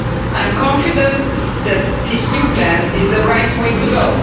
I am confident that this new plan is the right way to go.